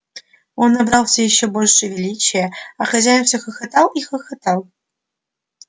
он набрался ещё больше величия а хозяин все хохотал и хохотал